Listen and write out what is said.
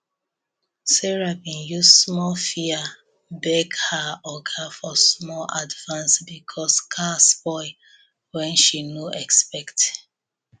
sarah been use small fear beg her oga for small advance because car spoil wen she no expect